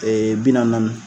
Ɛɛ bi naani, naani.